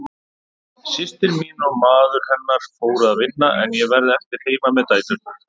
Systir mín og maður hennar fóru að vinna en ég varð eftir heima með dæturnar.